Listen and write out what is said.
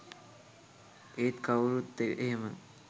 ඒත් කවුරත් එහෙම